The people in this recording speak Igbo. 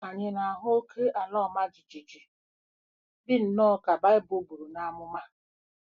Ànyị na-ahụ oké ala ọma jijiji, dị nnọọ ka Bible buru n'amụma?